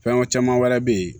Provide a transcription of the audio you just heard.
Fɛn caman wɛrɛ bɛ yen